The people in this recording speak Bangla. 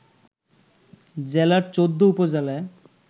জেলার ১৪ উপজেলায়